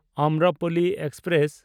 Amrapali express